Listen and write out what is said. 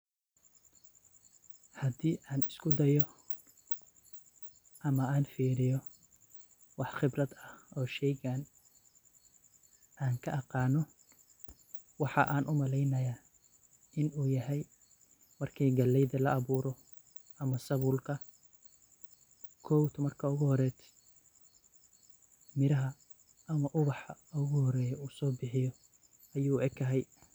Hadi an iskudayo ama an firiyo wax khibrad ah oo sheygan an kayiqano , waxan u maleya ,Marki galeyda ama sabulka la aburo kow marka miraha ama ubaha u horeyo uso bixiyo ayu u eg yahay.